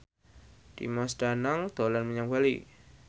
Dimas Danang dolan menyang Bali